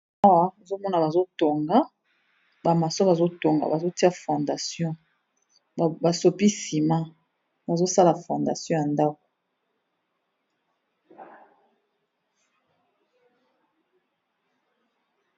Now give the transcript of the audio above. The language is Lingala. Awa nazo mona bazo tonga, ba macons bazo tonga, bazo tia fondation ba sopi ciment, bazo sala fondation ya ndaku .